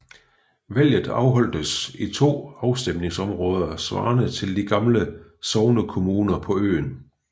Valget afholdtes i 2 afstemningsområder svarende til de gamle sognekommuner på øen